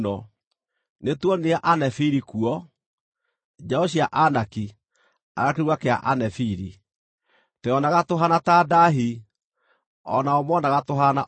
Nĩtuonire Anefili kuo (njiaro cia Anaki, a kĩruka kĩa Anefili). Tweyonaga tũhaana ta ndaahi, o nao moonaga tũhaana o ta cio.”